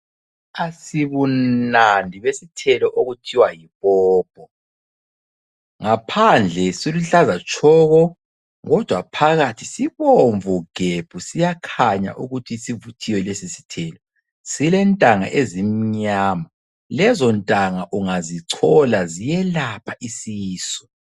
Asibunandi besithelo okuthiwa yipopo. Ngaphandle siluhlaza tshoko kodwa phakathi sibomvu gebhu siyakhanya ukuthi sivuthiwe lesisithelo. Silentanga ezimnyama lezontanga ungazichola ziyelapha isisu.